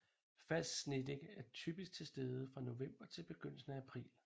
Fast snedække er typisk til stede fra november til begyndelsen af april